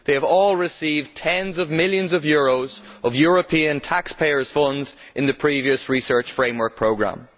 They all received tens of millions of euros of European taxpayers' money under the previous research framework programme.